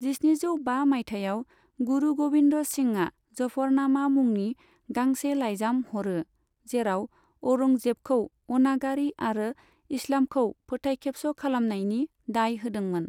जिस्निजौ बा मायथाइयाव, गुरु गोबिन्द सिंहआ जफरनामा मुंनि गांसे लाइजाम हरो, जेराव औरंगजेबखौ अनागारि आरो इस्लामखौ फोथाय खेबस' खालामनायनि दाय होदोंमोन।